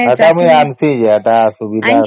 ହେଟା ମୁ ଆଣିଛେ ଯେ ହେଟା